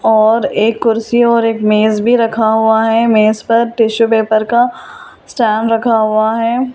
और एक कुर्सी और एक मेज भी रखा हुआ है मेज पर टिशू पेपर का स्टैंड रखा हुआ है।